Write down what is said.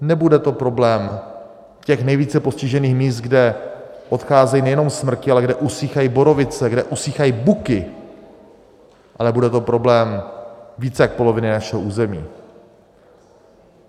Nebude to problém těch nejvíce postižených míst, kde odcházejí nejenom smrky, ale kde usychají borovice, kde usychají buky, ale bude to problém víc jak poloviny našeho území.